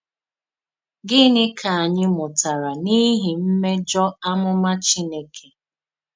Gịnị ka ànyì mùtàrà n’ìhì mmèjọ àmùmà Chínèkè?